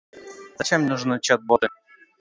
зачем нужны чат боты